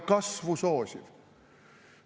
Kasvu soosiv!